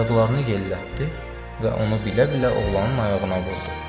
Ayaqlarını yellətdi və onu bilə-bilə oğlanın ayağına vurdu.